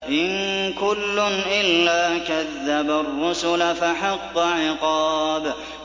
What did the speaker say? إِن كُلٌّ إِلَّا كَذَّبَ الرُّسُلَ فَحَقَّ عِقَابِ